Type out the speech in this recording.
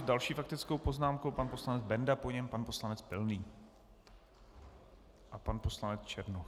S další faktickou poznámkou pan poslanec Benda, po něm pan poslanec Pilný a pan poslanec Černoch.